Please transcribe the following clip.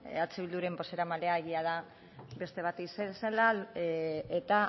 eh bilduren bozeramailea egia da beste bat izan zela eta